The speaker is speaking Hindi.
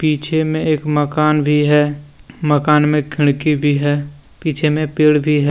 पीछे में एक मकान भी है मकान में खिड़की भी है पीछे में पेड़ भी है।